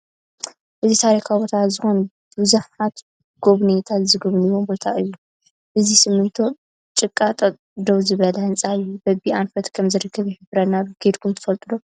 እዚ ታሪካዊ ቦታታት ዝኮኑ ቡዙሓት ጎብይነይቲ ዝጉብኒዎ ቦታ እዩ ብዘይ ሲሜንቶ ጭቃ ደው ዝበለ ህንፃ እዩ። በበይ ኣንፈት ከም ዝርከብ ይሕብረና ኣሎ። ከይድኩም ትፈልጡ ዶ?